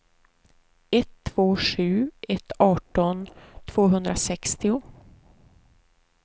ett två sju ett arton tvåhundrasextio